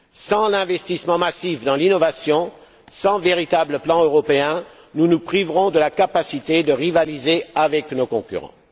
Sans l'investissement massif dans l'innovation, sans véritable plan européen, nous nous priverons de la capacité de rivaliser avec nos concurrents.